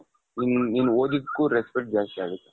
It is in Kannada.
ನೀನು ಓದಿದ್ಕು respect ಜಾಸ್ತಿ ಆಗುತ್ತೆ.